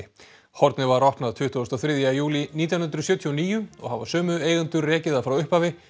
hornið var opnað tuttugasta og þriðja júlí nítján hundruð sjötíu og níu og hafa sömu eigendur rekið það frá upphafi